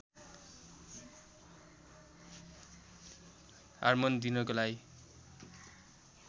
hormone दिनको लागि